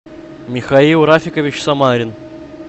михаил рафикович самарин